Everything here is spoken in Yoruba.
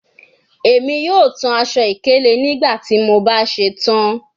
Emi yoo tan aṣọ-ikele naa nigbati mo ba ṣetan